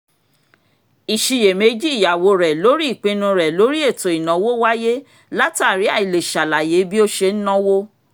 ìṣiyèméjì ìyàwó rẹ̀ lórí ìpinu rẹ̀ lórí ètò ìnáwó wáyé látàrí àìlè ṣàlàyé bí ó ṣe ń náwó